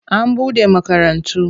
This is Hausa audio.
An bude makarantu.